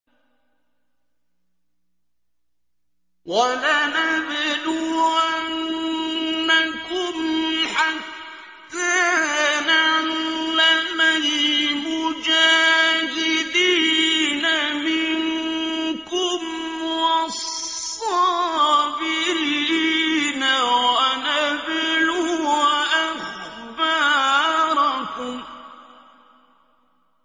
وَلَنَبْلُوَنَّكُمْ حَتَّىٰ نَعْلَمَ الْمُجَاهِدِينَ مِنكُمْ وَالصَّابِرِينَ وَنَبْلُوَ أَخْبَارَكُمْ